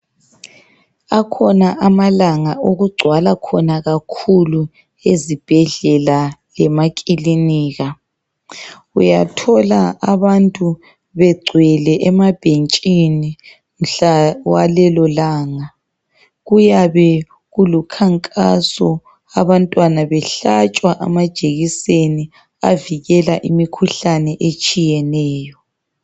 Akhona Amalanga okugcwala khona kakhulu ezibhedlela lemakilinika. Uyathola abantu begcwele emabhentshini mhla walelolanga. Kuyabe kulukhankaso, abantwana behlatshwa amajekiseni avikela imikhuhlane etshiyeneyo.